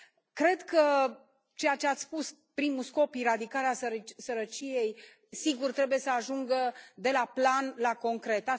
Cred că ceea ce ați spus, primul scop, eradicarea sărăciei, sigur, trebuie să ajungă de la plan la concret.